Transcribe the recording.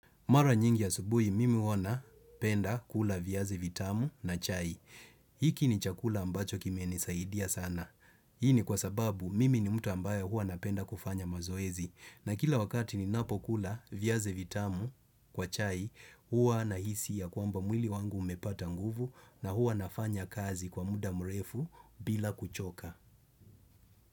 Mara nyingi ya asubuhi mimi huwa napenda kula viazi vitamu na chai. Hiki ni chakula ambacho kimenisaidia sana. Hii ni kwa sababu mimi ni mtu ambaye huwa napenda kufanya mazoezi. Na kila wakati ninapo kula viazi vitamu kwa chai, huwa nahisi ya kwamba mwili wangu umepata nguvu na huwa nafanya kazi kwa muda mrefu bila kuchoka.